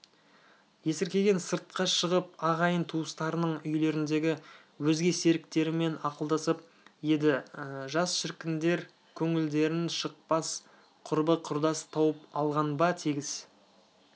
есіркеген сыртқа шығып ағайын-туыстарының үйлеріндегі өзге серіктерімен ақылдасып еді жас шіркіндер көңілдерін жықпас құрбы-құрдас тауып алған ба тегіс